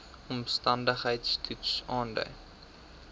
omstandigheids toets aandui